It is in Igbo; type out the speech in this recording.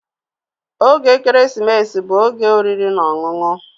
Oge ekeresimesi bụ oge oriri na ọṅụṅụ.